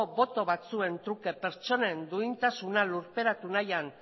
boto batzuen truke pertsonen duintasuna lurperatu nahian